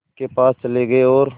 के पास चले गए और